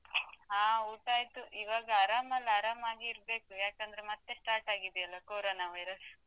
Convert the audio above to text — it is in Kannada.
ಹಾ ಊಟ ಆಯಿತು ಇವಾಗ ಆರಾಮ್ ಅಲ ಆರಾಮಾಗಿ ಇರ್ಬೇಕು ಯಾಕಂದ್ರೆ ಮತ್ತೆ start ಆಗಿದೆಲ್ಲಾ Corona Virus .